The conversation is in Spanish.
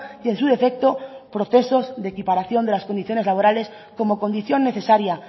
y en su defecto procesos de equiparación de las condiciones laborales como condición necesaria